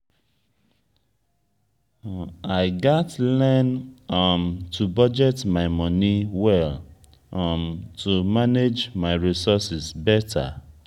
i gats learn um to budget my money well um to manage my resources better.